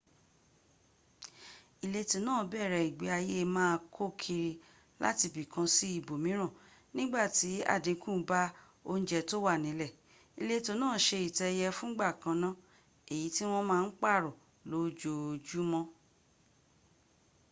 ìletò náà bẹ̀rẹ̀ ìgbéayé má a kó kiri látibìkan sí ibòmíràn ńgbàti àdínkù bá oúnjẹ tó wà nílẹ̀ ìletò náà se ìtẹ́ ẹyẹ fúngbà kanná èyí tí wọ́n má ń pààrọ̀ lójoójúmọ́